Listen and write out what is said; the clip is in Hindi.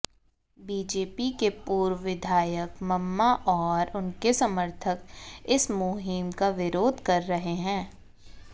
बीजेपी के पूर्व विधायक मम्मा और उनके समर्थक इस मुहिम का विरोध कर रहे हैं